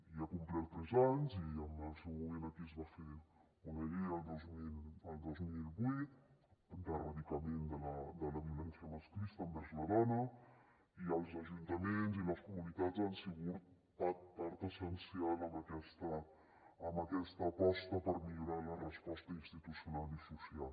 i ha complert tres anys i en el seu moment aquí es va fer una llei el dos mil vuit d’erradicació de la violència masclista envers la dona i els ajuntaments i les comunitats han sigut part essencial en aquesta aposta per millorar la resposta institucional i social